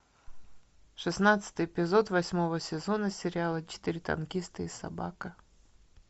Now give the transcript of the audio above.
шестнадцатый эпизод восьмого сезона сериала четыре танкиста и собака